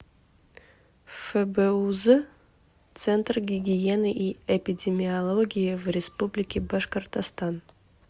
фбуз центр гигиены и эпидемиологии в республике башкортостан